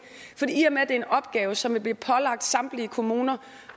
i og med at det er en opgave som vil blive pålagt samtlige kommuner